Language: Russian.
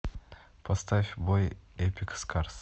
поставь бой эпик скарс